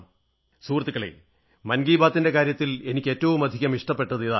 സുഹൃത്തുക്കളേ മൻ കീ ബാത് ന്റെ കാര്യത്തിൽ എനിക്ക് ഏറ്റവുമധികം ഇഷ്ടപ്പെട്ടത് ഇതാണ്